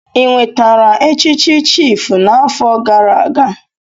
Ị nwetara echichi chiịfụ n'afọ gara aga?